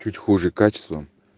чуть хуже качеством